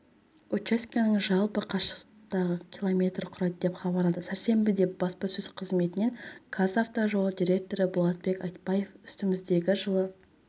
учаскенің жалпы қашықтығы км құрайды деп хабарлады сәрсенбіде баспасөз қызметінен қазавтожол директоры болатбек айтбаев үстіміздегі жылы